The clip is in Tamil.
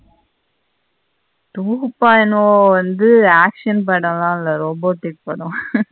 two point o வந்து action பாடல்ல இல்ல robotic படம் .